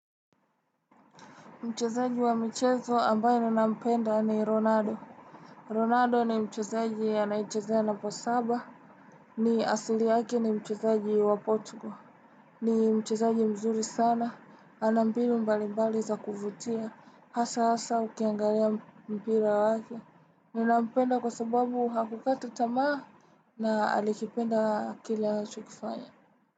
Mchezaji wa michezo ambaye ninampenda ni Ronaldo. Ronado ni mchezaji anayechezea namba saba. Ni asili yake ni mchezaji wa Portugal. Ni mchezaji mzuri sana. Ana mbinu mbali mbali za kufutia. Hasa hasa ukiangalia mpira wake. Ninampenda kwa sababu hakukata tamaa na alikipenda kile anachokifanya.